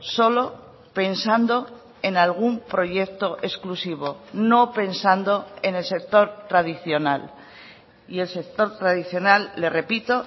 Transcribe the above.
solo pensando en algún proyecto exclusivo no pensando en el sector tradicional y el sector tradicional le repito